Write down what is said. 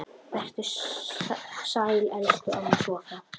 Vertu sæl, elsku amma Soffa.